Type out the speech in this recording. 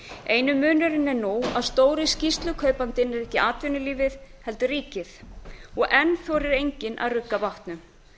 eini munurinn er nú að stóri skýrslukaupandinn er ekki atvinnulífið heldur ríkið og enn þorir enginn að rugga bátnum